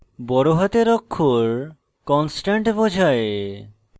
বড় হাতের অক্ষর constant বোঝায়